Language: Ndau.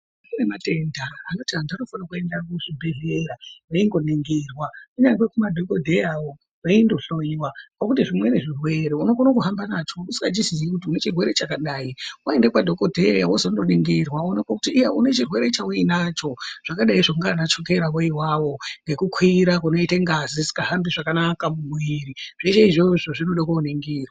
Kune matenda vantu ngavende kuzvibhedhlera vengo ningirwa unyangwe kumadhokodheya wo weyinno hloyiwa ngekuti zvimweni zvirwere unokone kuhamba nacho usingazivi kuti unechirwere chakadai waenda kwadokodhera wozononingirwa kuti iyazve unechirwere chaui nacho zvakadi zvonana chukera wiivawo nekukwira kwengazi isinga hahambi zvakanaka mumuiri zvese izvozvo zvinoda kuningirwa.